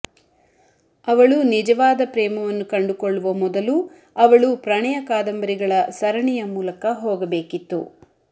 ಅವಳು ನಿಜವಾದ ಪ್ರೇಮವನ್ನು ಕಂಡುಕೊಳ್ಳುವ ಮೊದಲು ಅವಳು ಪ್ರಣಯ ಕಾದಂಬರಿಗಳ ಸರಣಿಯ ಮೂಲಕ ಹೋಗಬೇಕಿತ್ತು